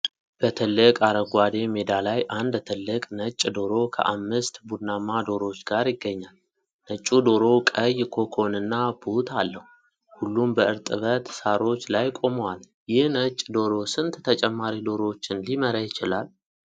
በትልቅ አረንጓዴ ሜዳ ላይ አንድ ትልቅ ነጭ ዶሮ ከአምስት ቡናማ ዶሮዎች ጋር ይገኛል። ነጩ ዶሮ ቀይ ኮኮንና ቡት አለው፣ ሁሉም በእርጥበት ሳሮች ላይ ቆመዋል፣ ይህ ነጭ ዶሮ ስንት ተጨማሪ ዶሮዎችን ሊመራ ይችላል?